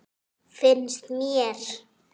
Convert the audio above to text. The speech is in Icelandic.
Fannst mér.